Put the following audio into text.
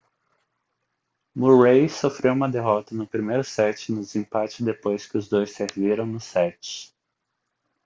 murray sofreu uma derrota no primeiro set no desempate depois que os dois serviram no set